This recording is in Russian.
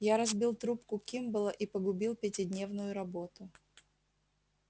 я разбил трубку кимболла и погубил пятидневную работу